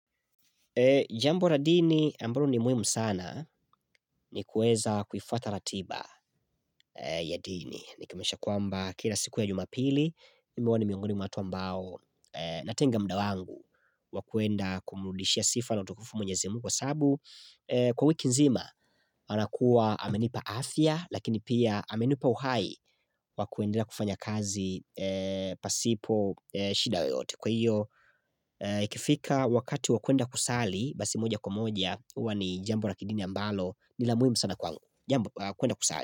Jambo la dini ambalo ni muhimu sana ni kuweza kuifuata ratiba ya dini. Nikimilisha kwamba kila siku ya jumapili, mimi huwa ni miongoni mwa watu ambao natenga muda wangu wakuenda kumurudishia sifa na utukufu mwenyezi Mungu kwa sababu kwa wiki nzima, anakuwa amenipa afya, lakini pia amenipa uhai wakuendelea kufanya kazi pasipo shida yoyote. Kwa hiyo, ikifika wakati wa kuenda kusali. Basi moja kwa moja huwa ni jambo na kidini ambalo nilamuhimu sana kwangu jambo, kuenda kusali.